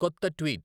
కొత్త ట్వీట్